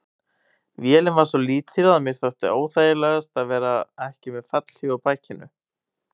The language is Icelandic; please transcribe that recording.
Vélin var svo lítil að mér þótti óþægilegast að vera ekki með fallhlíf á bakinu.